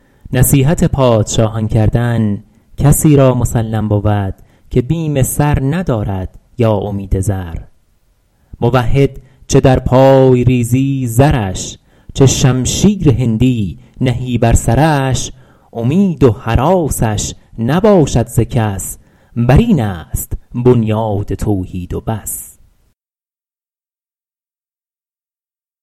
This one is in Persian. نصیحت پادشاهان کردن کسی را مسلم بود که بیم سر ندارد یا امید زر موحد چه در پای ریزی زرش چه شمشیر هندی نهی بر سرش امید و هراسش نباشد ز کس بر این است بنیاد توحید و بس